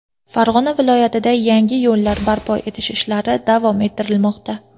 Farg‘ona viloyatida yangi yo‘llar barpo etish ishlari davom ettirilmoqda.